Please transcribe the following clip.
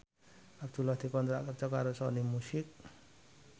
Abdullah dikontrak kerja karo Sony Music